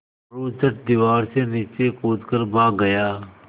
मोरू झट दीवार से नीचे कूद कर भाग गया